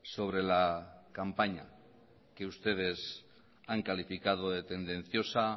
sobre la campaña que ustedes han calificado de tendenciosa